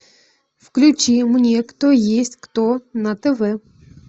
включи мне кто есть кто на тв